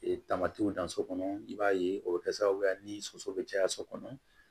tamatiw dan so kɔnɔ i b'a ye o bɛ kɛ sababu ye ni soso bɛ caya so kɔnɔ